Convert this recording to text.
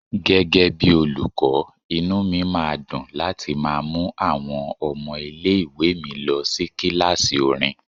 Gẹ́gẹ́ bí olùkọ́, inú mi máa dùn láti má mú àwọn ọmọ ilé ìwé mi lọ sí kíláàsì orin.